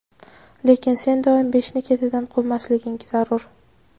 lekin sen doim beshni ketidan quvmasliging zarur.